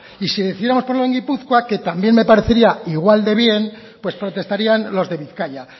y si decidiéramos ponerlo en gipuzkoa que también me parecería igual de bien pues protestarían los de bizkaia